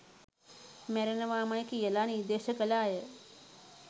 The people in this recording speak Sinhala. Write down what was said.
මැරෙනවමයි කියා නිර්දේශ කල අය